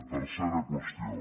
tercera qüestió